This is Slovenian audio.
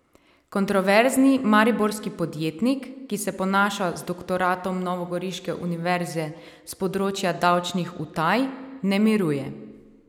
Kontroverzni mariborski podjetnik, ki se ponaša z doktoratom novogoriške univerze s področja davčnih utaj, ne miruje.